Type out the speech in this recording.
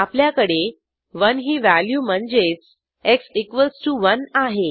आपल्याकडे 1 ही व्हॅल्यू म्हणजेच एक्स 1 आहे